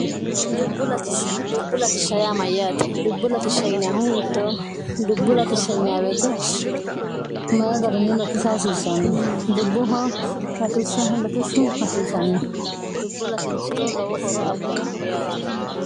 dubbu ltism yaate dubbu lsh hiitto dubbu ltisieete mayi garinni lotisa hasiisanno dubbuh ltisltishhu hasiisanno dubbo latinsiro lowo horo abbannoho yaati